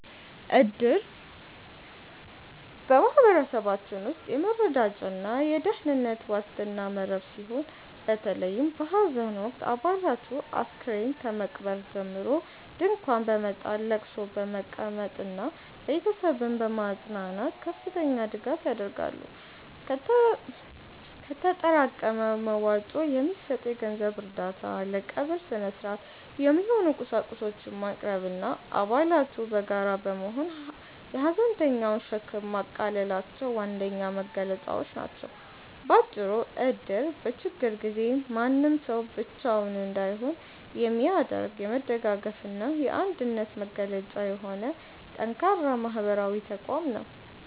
እድር በማኅበረሰባችን ውስጥ የመረዳጃና የደኅንነት ዋስትና መረብ ሲሆን፤ በተለይም በሐዘን ወቅት አባላቱ አስከሬን ከመቅበር ጀምሮ ድንኳን በመጣል፣ ለቅሶ በመቀመጥና ቤተሰብን በማጽናናት ከፍተኛ ድጋፍ ያደርጋሉ። ከተጠራቀመ መዋጮ የሚሰጥ የገንዘብ እርዳታ፣ ለቀብር ሥነ-ሥርዓት የሚሆኑ ቁሳቁሶችን ማቅረብና አባላቱ በጋራ በመሆን የሐዘንተኛውን ሸክም ማቃለላቸው ዋነኛ መገለጫዎቹ ናቸው። ባጭሩ እድር በችግር ጊዜ ማንም ሰው ብቻውን እንዳይሆን የሚያደርግ፣ የመደጋገፍና የአንድነት መገለጫ የሆነ ጠንካራ ማኅበራዊ ተቋም ነው።